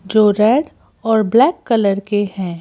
जो रेड और black colour के हैं।